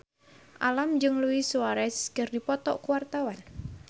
Alam jeung Luis Suarez keur dipoto ku wartawan